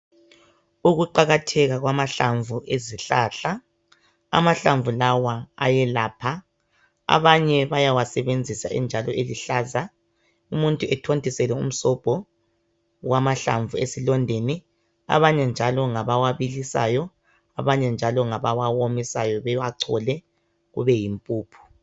Ukuqakatheka kwamahlamvu ezihlahla amahlamvu lawa ayelapha abanye bayawasebenzisa enjalo eluhlaza, umuntu ethontisele umsobho wamahlamvu esilondeni abanye njalo ngabawabilisayo, abanye njalo ngabawa womisayo bewachole kube yimpuphu.